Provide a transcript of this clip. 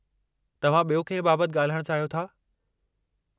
तव्हां ॿियो कंहिं बाबतु ॻाल्हाइणु चाहियो था?